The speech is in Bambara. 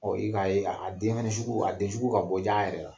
i ka ye a denɲɛni sugu a den sugu ka bɔ ja a yɛrɛ la.